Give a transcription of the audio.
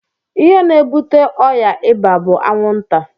Ihe na ebute ọya ịba bu anwụ nta.